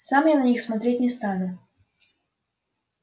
сам я на них смотреть не стану